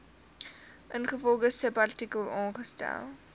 ingevolge subartikel aangestel